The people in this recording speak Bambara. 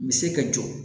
Me se ka jɔ